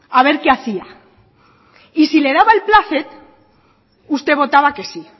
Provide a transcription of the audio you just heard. a ver qué hacía y si le daba el plácet usted votaba que sí